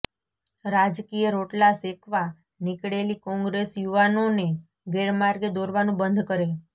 રાજકીય રોટલા શેકવા નીકળેલી કોંગ્રેસ યુવાનોને ગેરમાર્ગે દોરવાનું બંધ કરે